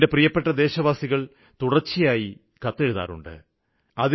എന്റെ പ്രിയപ്പെട്ട ദേശവാസികള് തുടര്ച്ചയായി കത്തെഴുതാറുണ്ട്